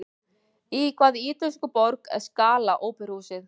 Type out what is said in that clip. Í hvaða ítölsku borg er Scala óperuhúsið?